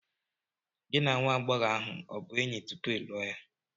Gị na nwa agbọghọ ahụ ọ bụ enyi tupu ị lụọ ya?